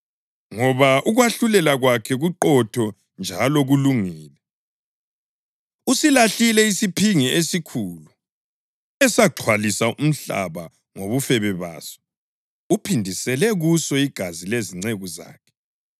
ngoba ukwahlulela kwakhe kuqotho njalo kulungile. Usilahlile isiphingi esikhulu esaxhwalisa umhlaba ngobufebe baso. Uphindisele kuso igazi lezinceku zakhe.”